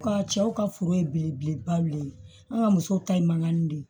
Ka cɛw ka foro ye belebeleba de ye an ka musow ta ye mankan de